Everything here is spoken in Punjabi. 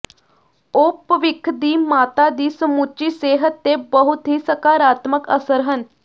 ਉਹ ਭਵਿੱਖ ਦੀ ਮਾਤਾ ਦੀ ਸਮੁੱਚੀ ਸਿਹਤ ਤੇ ਬਹੁਤ ਹੀ ਸਕਾਰਾਤਮਕ ਅਸਰ ਹਨ